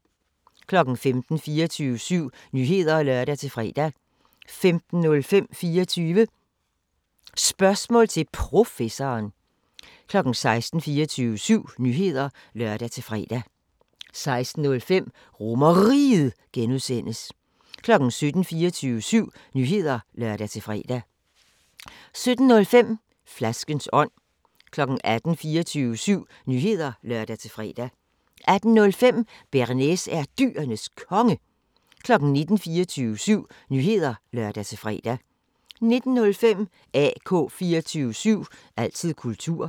15:00: 24syv Nyheder (lør-fre) 15:05: 24 Spørgsmål til Professoren 16:00: 24syv Nyheder (lør-fre) 16:05: RomerRiget (G) 17:00: 24syv Nyheder (lør-fre) 17:05: Flaskens ånd 18:00: 24syv Nyheder (lør-fre) 18:05: Bearnaise er Dyrenes Konge 19:00: 24syv Nyheder (lør-fre) 19:05: AK 24syv – altid kultur